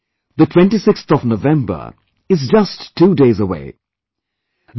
My dear countrymen, the 26th of November is just two days away